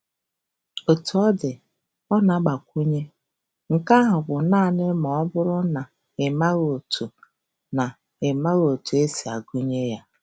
Otú ọ dị, ọ na-agbakwụnye, "Nke ahụ bụ naanị ma ọ bụrụ na ịmaghị otu na ịmaghị otu esi agụ ya."